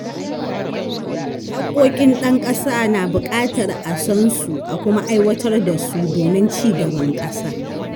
Haƙƙoƙin ɗan ƙasa na buƙatar a san su a kuma aiwatar da su domin ci gaban ƙasa.